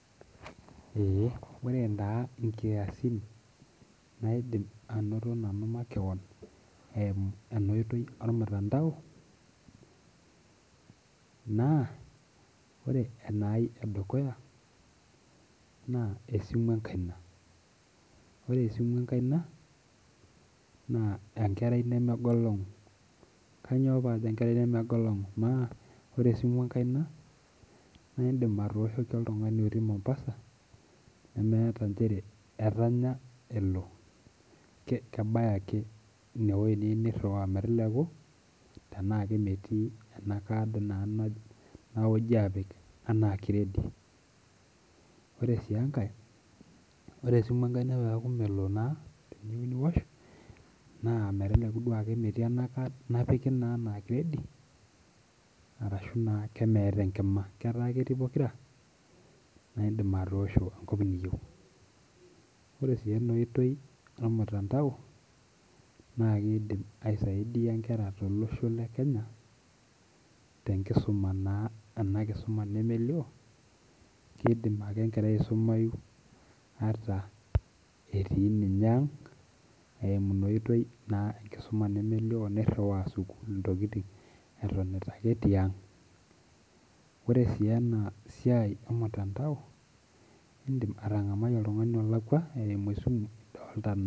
Eh ore taa inkiasin naidim anoto nanu makewon eimu ena oitoi ormutandao naa ore enai edukuya naa esimu enkaina ore esimu enkaina naa enkerai nemegolong'u kanyio paajo enkerai nemegolong'u kanyio paajo enkerai nemegolong'u maa ore esimu enkaina naindim atooshoki oltung'ani otii mombasa nemeeta nchere etanya elo ke kebaya ake inewoi niyieu nirriwaa meteleku tenaa kemetii ena card naa naoji apik anaa kiredi ore sii enkae ore esimu enkaina peeku melo naa teniyieu niwosh naa meteleku duo akemetii ena card napiki naa enaa kiredi arashu naa kemeeta enkima ketaa ketii pokira naindim atoosho enkop niyieu ore sii ena oitoi ormutandao naa keidim aisaidia inkera tolosho le kenya tenkisuma naa ena kisuma nemelio kidim ake enkerai aisumai ata etii ninye ang eimu ina oitoi naa enkisuma nemelio nirriwaa sukuul intokiting etonita ake tiang ore sii ena siai e mtandao indim atang'amai oltung'ani olakua eimu esimu idolta.